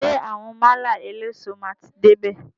Ṣé àwọn málà eléso máa ti dé bè?